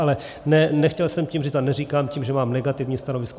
Ale nechtěl jsem tím říct a neříkám tím, že mám negativní stanovisko.